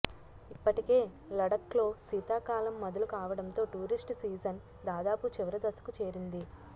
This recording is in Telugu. ఇప్పటికే లడఖ్లో శీతాకాలం మొదలు కావడంతో టూరిస్ట్ సీజన్ దాదాపు చివరి దశకు చేరింది